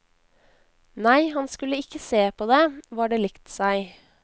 Nei, han skulle ikke se på det, var det likt seg.